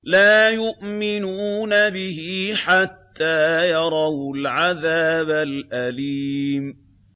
لَا يُؤْمِنُونَ بِهِ حَتَّىٰ يَرَوُا الْعَذَابَ الْأَلِيمَ